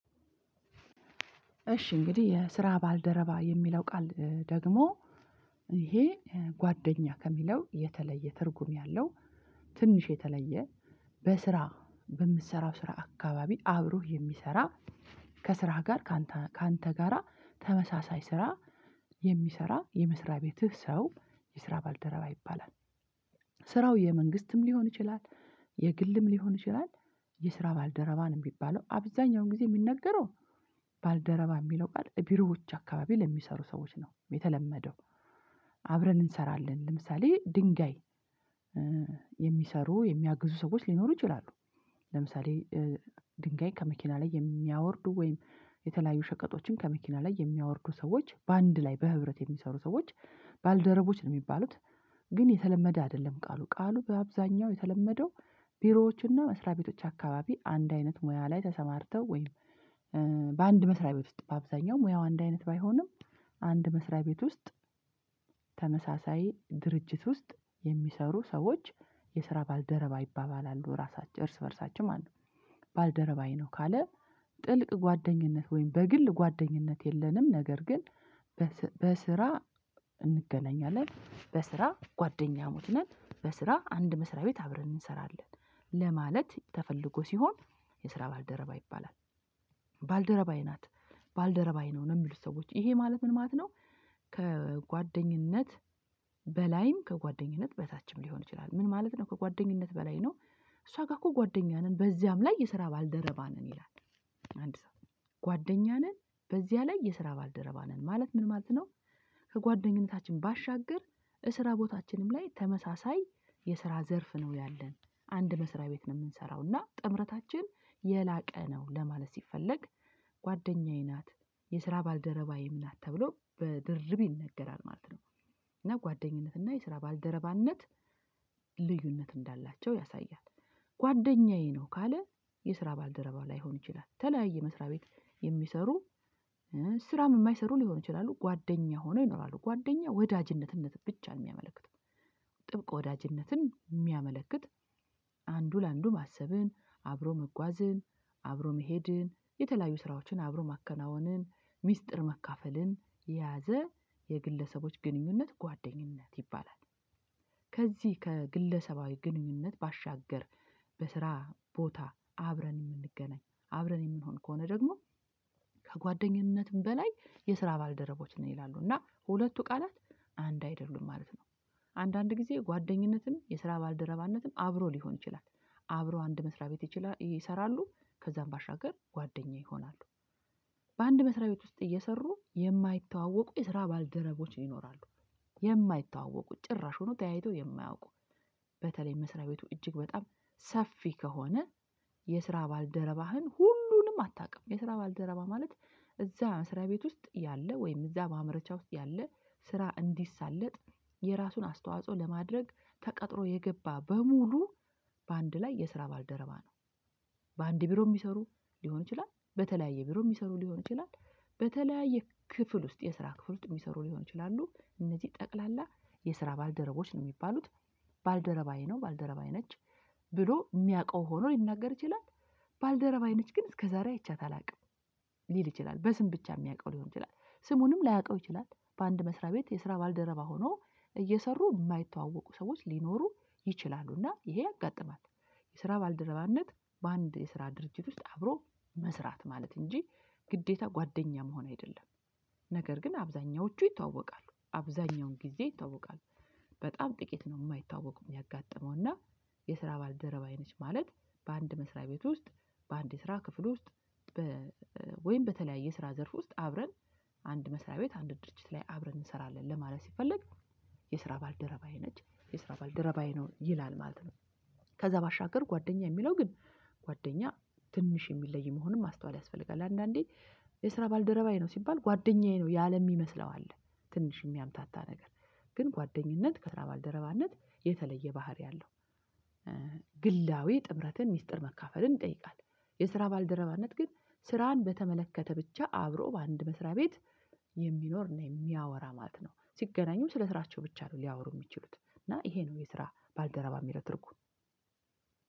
እሺ እንግዲህ የስራ ባልደረባ የሚለው ቃል ደግሞ ይሄ ጓደኛ ከሚለው የተለየ ትርጉም ያለው ትንሽ የተለየ በስራ በምትሰራው ስራ አካባቢ አብሮህ የሚሰራ ከስራህ ጋር ካንተ ካንተ ጋራ ተመሳሳይ ስራ የሚሰራ የመስሪያ ቤትህ ሰው የስራ ባልደረባ ይባላል። ስራው የመንግስትም ሊሆን ይችላል የግልም ሊሆን ይችላል። የስራ ባልደረባንም ሚባለው አብዛኛውን ጊዜ የሚነገረው ባልደረባ የሚለው ቃል ቢሮዎች አካባቢ ለሚሰሩ ሰዎች ነው የተለመደው። አብረን እንሰራለን ለምሳሌ ድንጋይ የሚሰሩ የሚያግዙ ሰዎች ሊኖሩ ይችላሉ። ለምሳሌ ድንጋይ ከመኪና ላይ የሚያወርዱ ወይም የተለያዩ ሸቀጦችን ከመኪና ላይ የሚያወርዱ ሰዎች በአንድ ላይ በህብረት የሚሰሩ ሰዎች ባልደረቦች ነው የሚባሉት። ግን የተለመደ አይደለም ቃሉ ቃሉ በአብዛኛው የተለመደው ቢሮዎችና መስሪያ ቤቶች አካባቢ አንድ አይነት ሙያ ላይ ተሰማርተው ወይም በአንድ መስሪያ ቤት ውስጥ በአብዛኛው ሙያው አንድ አይነት ባይሆንም አንድ መስሪያ ቤት ውስጥ ተመሳሳይ ድርጅት ውስጥ የሚሰሩ ሰዎች የስራ ባልደረባ ይባባላሉ ራሳቸው እርስ በእርሳቸው ማለት ነው። ባልደረባዬ ነው ካለ ጥልቅ ጓደኝነት ወይም በግል ጓደኝነት የለንም ነገር ግን በስራ እንገናኛለን በስራ ጓደኛሞችነን በስራ አንድ መስሪያ ቤት አብረን እንሰራለን ለማለት ተፈልጎ ሲሆን የስራ ባልደረባ ይባላል። ባልደረባዬ ናት ባልደረባዬ ነው የሚሉት ሰዎች ይሄ ማለት ምን ማለት ነው? ከጓደኝነት በላይም ከጓደኝነት በታችም ሊሆን ይችላል ምን ማለት ነው ከጓደኝነት በላይ ነው። እሷ ጋር እኮ ጓደኛ ነን በዚያም ላይ የስራ ባልደረባ ነን ይላል አንድ ሰው ጓደኛ ነን በዚያ ላይ የስራ ባልደረባ ነን ማለት ምን ማለት ነው? ከጓደኝነታችን ባሻገር እስራ ቦታችንም ላይ ተመሳሳይ የስራ ዘርፍ ነው ያለን አንድ መስሪያ ቤት ነው የምንሰራው እና ጥምረታችን የላቀ ነው ለማለት ሲፈለግ ጓደኛዬ ናት የስራ ባልደረባዬም ናት ተብሎ በድርብ ይነገራል ነው። እና ጓደኝነት እና የስራ ባልደረባነት ልዩነት እንዳላቸው ያሳያል። ጓደኛዬ ነው ካለ የስራ ባልደረባ ላይሆን ይችላል የተለያየ መስሪያ ቤት የሚሰሩ ስራም የማይሰሩ ሊሆን ይችላሉ ጓደኛ ሆኖ ይኖራሉ ጓደኛ ወዳጅነትነት ብቻ ነው የሚያመለክት ጥብቅ ወዳጅነትን የሚያመለክት አንዱ ለአንዱ ማሰብን አብሮ መጓዝን አብሮ መሄድን የተለያዩ ስራዎችን አብሮ ማከናወንን ሚስጥር መካፈልን የያዘ የግለሰቦች ግንኙነት ጓደኝነት ይባላል። ከዚህ ከግለሰባዊ ግንኙነት ባሻገር በስራ ቦታ አብረን የምንገናኝ አብረን የምንሆን ከሆነ ደግሞ ከጓደኝነትም በላይ የስራ ባልደረቦች ነን ይላሉ እና ሁለቱ ቃላት አንድ አይደሉም ማለት ነው። አንዳንድ ጊዜ ጓደኝነትም የስራ ባልደረባነትም አብሮ ሊሆን ይችላል አብሮ አንድ መስሪያ ቤት ይችላሉ ይሰራሉ ከዛም ባሻገር ጓደኛ ይሆናሉ። በአንድ መስሪያ ቤት ውስጥ እየሰሩ የማይተዋወቁ የስራ ባልደረቦች ይኖራሉ። የማይተዋወቁ ጭራሹኑ ተያይቶ የማያውቁ በተለይ መስሪያ ቤቱ እጅግ በጣም ሰፊ ከሆነ የስራ ባልደረባህን ሁሉንም አታውቅም የስራ ባልደረባ ማለት እዛ ስራ ቤት ውስጥ ያለ ወይም እዛ ማምረቻ ውስጥ ያለ ስራ እንዲሳለጥ የራሱን አስተዋጽኦ ለማድረግ ተቀጥሮ የገባ በሙሉ በአንድ ላይ የስራ ባልደረባ ነው። በአንድ ቢሮ የሚሰሩ ሊሆን ይችላል በተለያየ ቢሮ የሚሰሩ ሊሆን ይችላል በተለያየ ክፍል ውስጥ የስራ ክፍል ውስጥ የሚሰሩ ሊሆን ይችላሉ እነዚህ ጠቅላላ የስራ ባልደረቦች ነው የሚባሉት። ባልደረባዬ ነው ባልደረባዬ ነች ብሎ የሚያውቀው ሆኖ ሊናገር ይችላል ባልደረባዬ ነች ግን እስከዛሬ አይቻት አላውቅም። ሊል ይችላል በስም ብቻ የሚያውቀው ሊሆን ይችላል ስሙንም ላያውቀው ይችላል በአንድ መስሪያ ቤት የስራ ባልደረባ ሆኖ እየሰሩ የማይተዋወቁ ሰዎች ሊኖሩ ይችላሉና ይሄ ያጋጥማል። የስራ ባልደረባነት በአንድ የስራ ድርጅት ውስጥ አብሮ መስራት ማለት እንጂ ግዴታ ጓደኛ መሆን አይደለም። ነገር ግን አብዛኛዎቹ ይተዋወቃሉ አብዛኛውን ጊዜ ይታወቃል። በጣም ጥቂት ነው የማይታወቁም ሚያጋጠመው የስራ ባልደረባዬ ነች ማለት በአንድ መስሪያ ቤት ውስጥ በአንድ ስራ ክፍል ውስጥ ወይም በተለያየ ስራ ዘርፍ ውስጥ አብረን አንድ መስሪያ ቤት አንድ ድርጅት ላይ አብረን እንሰራለን ለማለት ስንፈልግ የስራ ባልደረባዬ ነች የስራ ባልደረባዬ ነው ይላል ማለት ነው። ከዛ ባሻገር ጓደኛ የሚለው ግን ጓደኛ ትንሽ የሚለይ መሆኑን ማስተዋል ያስፈልጋል። አንዳንዴ የስራ ባልደረባዬ ነው ሲባል ጓደኛዬ ነው ያለ የሚመስለው አለ ትንሽ የሚያምታታ ነገር ግን ጓደኝነት ከስራ ባልደረባነት የተለየ ባህሪ አለው። ግላዊ ጥምረትን ሚስጥር መካፈልን ይጠይቃል። የስራ ባልደረባነት ግን ስራን በተመለከተ ብቻ አብሮ በአንድ መስሪያ ቤት የሚኖርና የሚያወራ ማለት ነው ሲገናኙም ስለ ስራቸው ብቻ ነው ሊያወሩ የሚችሉት እና ይሄ ነው የስራ ባልደረባ ሚለው ትርጉም።